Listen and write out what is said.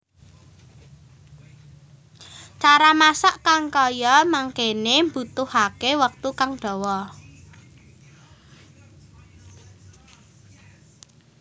Cara masak kang kaya mangkene mbutuhake wektu kang dawa